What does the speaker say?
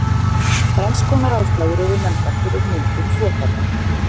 þrenns konar ástæður eru nefndar fyrir myndun þvottabretta